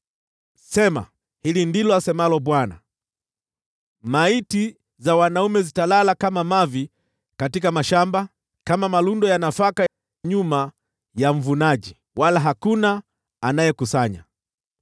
Sema, “Hili ndilo asemalo Bwana :“ ‘Maiti za wanaume zitalala kama mavi katika mashamba, kama malundo ya nafaka nyuma ya mvunaji, wala hakuna anayekusanya.’ ”